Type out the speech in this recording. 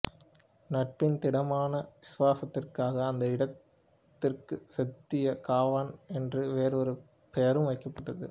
நட்பின் திடமான விசுவாசத்திற்காக அந்த இடத்திற்குசெத்தியா காவான் என்று வேறு ஒரு பெயரும் வைக்கப்பட்டது